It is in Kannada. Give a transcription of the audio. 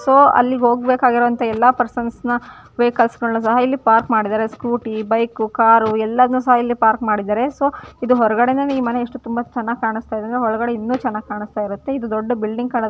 ಸೊ ಅಲ್ಲಿಗೆ ಹೋಗಬೇಕಾಗಿರೋ ಅಂತಹ ಎಲ್ಲ ಪರ್ಸನ್ಸ್ನ ವೆಹಿಕಲ್ಸ್ಗಳನ್ನ ಸಹ ಇಲ್ಲಿ ಪಾರ್ಕ್ ಮಾಡಿದ್ದಾರೆ ಸ್ಕೂಟಿ ಬೈಕ್ ಕಾರ್ ಎಲ್ಲಾನು ಸಹ ಇಲ್ಲಿ ಪಾರ್ಕ್ ಮಾಡಿದ್ದಾರೆ ಸೊ ಇದು ಹೊರಗಡೆಯಿಂದ ಈ ಮನೆ ಎಷ್ಟು ತುಂಬಾ ಚೆನ್ನಾಗಿ ಕಾಣಸ್ತಾಯಿದೆ ಅಂದ್ರೆ ಒಳಗಡೆ ಇನ್ನು ಚೆನ್ನಾಗಿ ಕಾಣಸ್ತಾಯಿರುತ್ತೆ ಇದು ದೊಡ್ಡ ಬಿಲ್ಡಿಂಗ್ ---